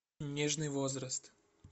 нежный возраст